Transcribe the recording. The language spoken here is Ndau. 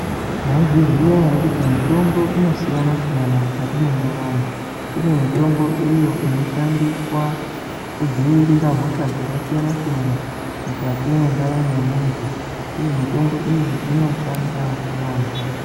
Maizviziva here kuti mitombo inosiyana siyana mukati mwendaramo kune mitombo iyi inoshandiswa kudziirira hosha dzakasiyana siyana mwukati mwendaramo yemundu uye mitombo iyi unoshanda yambo.